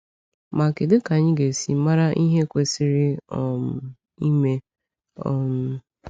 Ma, kedụ ka anyị ga-esi mara ihe kwesịrị um ime? um